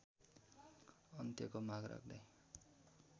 अन्त्यको माग राख्दै